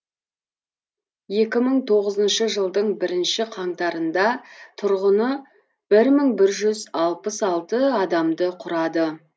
екі мың тоғызыншы жылдың бірінші қаңтарында тұрғыны бір мың жүз алпыс алты адамды құрады